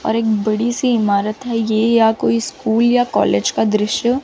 और एक बड़ी सी इमारत है ये या कोई स्कूल या कॉलेज का दृश्य--